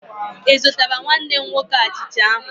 Ị zụtara nwanne m nwoke achicha ahụ